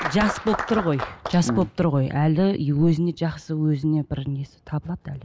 жас болып тұр ғой жас болып тұр ғой әлі и өзіне жақсы өзіне бір несі табылады әлі